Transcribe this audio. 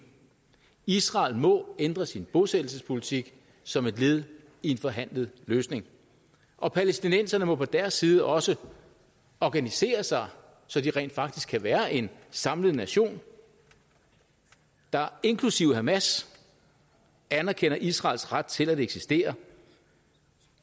israel må ændre sin bosættelsespolitik som et led i en forhandlet løsning og palæstinenserne må på deres side også organisere sig så de rent faktisk kan være en samlet nation der inklusive hamas anerkender israels ret til at eksistere